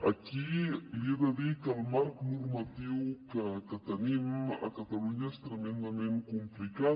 aquí li he de dir que el marc normatiu que tenim a catalunya és tremendament complicat